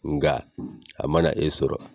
Nga a ma e sɔrɔ